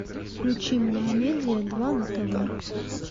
включи мне амедиа два на тв